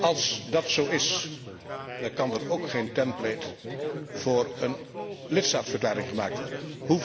Als dat zo is kan er ook geen template voor een lidstaatverklaring gemaakt worden.